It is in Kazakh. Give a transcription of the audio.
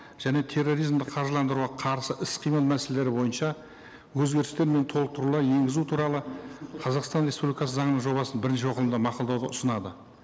және терроризмді қаржыландыруға қарсы іс қимыл мәселелері бойынша өзгерістер мен толықтырулар енгізу туралы қазақстан республикасы заңының жобасын бірінші оқылымда мақұлдауға ұсынады